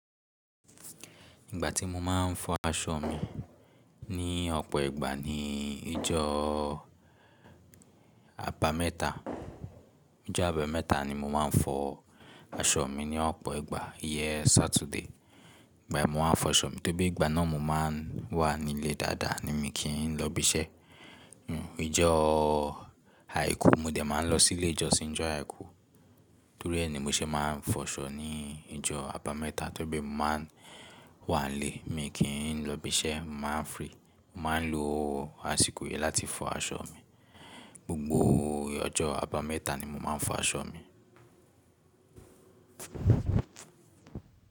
Ìgbà tí mo máa ń fọ aṣọ mi ní ọ̀pọ̀ ìgbà ni ìjọ́ àbámẹ́ta, ìjọ́ àbámẹ́ta ni mo máa ń fọ aṣọ mi ní ọ̀pọ̀ ìgbà. Iyen Saturday ìgbà yen mo máa ń fọ aṣọ mi tóri pé ìgbà náà mo máa ń wà nílé dáadáa ni mi kí n lọ ibi iṣẹ́. Hmm ìjọ́ Àìkú mo dẹ̀ máa lọ sí ilé ìjọsìn ìjọ́ Àìkú torí ẹ ni mo ṣe máa ń fọ aṣọ ní ìjọ́ àbámẹ́ta torí pe mo máa ń wà nílé mi kí ń lọ ibi iṣẹ́, màá free, màá ń lo àsìkò yi láti fọ aṣọ mi. Gbogbo ọjọ́ àbámẹ́ta ni mo máa ń fọ aṣọ mi.